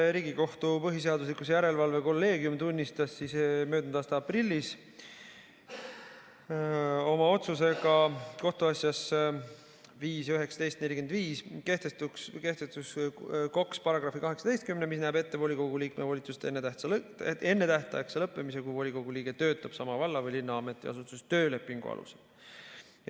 Riigikohtu põhiseaduslikkuse järelevalve kolleegium tunnistas möödunud aasta aprillis oma otsusega kohtuasjas 5-19-45 kehtetuks KOKS‑i § 18, mis näeb ette volikogu liikme volituste ennetähtaegse lõppemise, kui volikogu liige töötab sama valla või linna ametiasutuses töölepingu alusel.